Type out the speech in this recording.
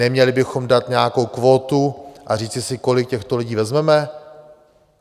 Neměli bychom dát nějakou kvótu a říci si, kolik těchto lidí vezmeme?